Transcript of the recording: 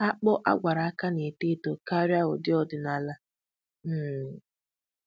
Akpụ agwara aka na-eto eto karịa ụdị ọdịnala. um